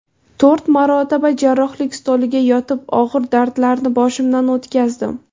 To‘rt marotaba jarrohlik stoliga yotib, og‘ir dardlarni boshimdan o‘tkazdim.